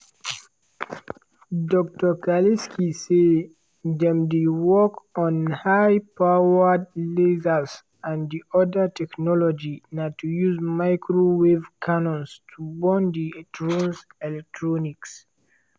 dr kalisky say "dem dey work on high powered lasers and di oda technology na to use microwave cannons to burn di drone electronics."